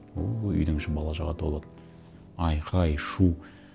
ооо үйдің іші бала шағаға толады айқай шу